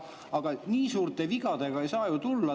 Aga nii suurte vigadega ei saa ju tulla.